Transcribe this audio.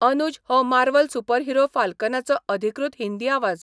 अनूज हो Marvel superhero फाल्कनाचो अधिकृत हिंदी आवाज.